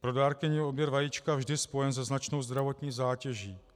Pro dárkyni je odběr vajíčka vždy spojen se značnou zdravotní zátěží.